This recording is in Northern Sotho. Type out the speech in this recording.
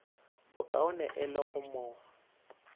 bokaone e le go mo